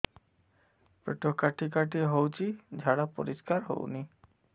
ପେଟ କାଟି କାଟି ହଉଚି ଝାଡା ପରିସ୍କାର ହଉନି